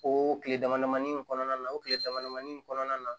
O tile damadamani in kɔnɔna na o tile damadamani in kɔnɔna na